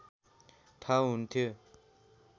ठाउँ हुन्थ्यो